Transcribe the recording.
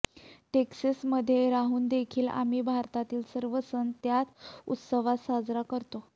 टेक्सासमध्ये राहूनदेखील आम्ही भारतातील सर्व सण त्याच उत्साहात साजरे करतो